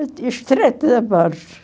E o Estreito da Borja.